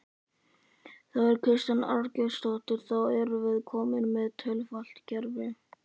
Þóra Kristín Ásgeirsdóttir: Þá erum við komin með tvöfalt kerfi?